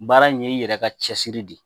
Baara in ye i yɛrɛ ka cɛsiri de ye